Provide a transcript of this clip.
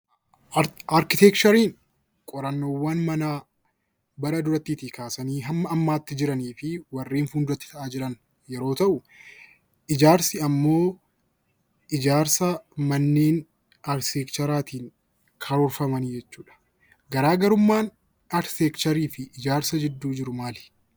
Arkiteekchariin qorannoowwan manaa bara durattii tii kaasanii hamma ammaatti jiranii fi warreen fuuldura tti ta'aa jiran yeroo ta'u; Ijaarsi ammoo ijaarsa manneen Arkiteekcharaa tiin karoorfamanii jechuu dha. Garaa garummaan Arkiteekcharii fi Ijaarsa gidduu jiru maali?